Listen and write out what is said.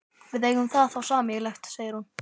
Við eigum það þá sameiginlegt, segir hún.